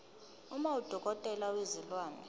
uma udokotela wezilwane